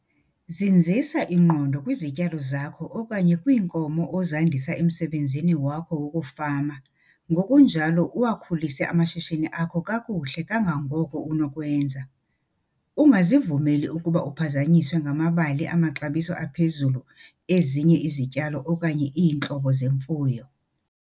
Zinzisa ingqondo kwizityalo zakho okanye kwiinkomo ozandisa emsebenzini wakho wokufama ngokunjalo uwakhulise amashishini akho kakuhle kangangoko unokwenza. Ungazivumeli ukuba uphazanyiswe ngamabali amaxabiso aphezulu ezinye izityalo okanye iintlobo zemfuyo.